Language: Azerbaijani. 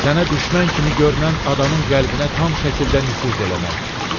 Sənə düşmən kimi görünən adamın qəlbinə tam şəkildə nüfuz eləmək.